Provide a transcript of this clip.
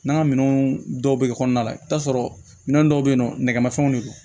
N'an ka minɛnw dɔw bɛ kɔnɔna la i bi t'a sɔrɔ minɛn dɔw bɛ yen nɔ nɛgɛmafɛnw de don